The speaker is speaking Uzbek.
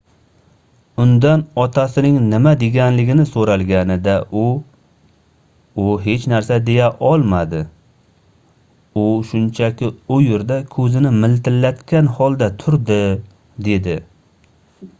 undan otasining nima deganligini soʻralganida u u hech narsa deya olmadi u shunchaki u yerda koʻzini miltillatgan holda turdi dedi